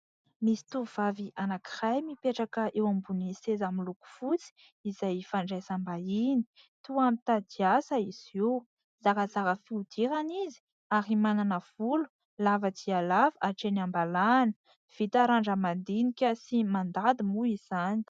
Misy tovovavy anankiray, mipetraka eo ambonin'ny seza miloko fotsy, izay fandraisam-bahiny, toa mitady asa izy io, zarazara fihodirana izy ary manana volo lava dia lava hatreny am-balahana, vita randra-madinika sy mandady moa izany.